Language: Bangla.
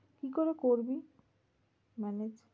কি করে করবি? manage?